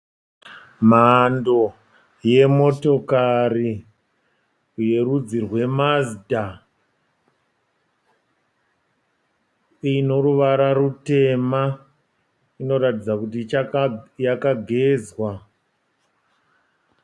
Mhando yemotokari yerudzi rweMazda inoruvara rutema. Inoratidza kuti yakagezwa.